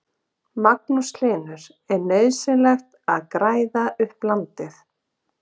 Magnús Hlynur: Er nauðsynlegt að græða upp land?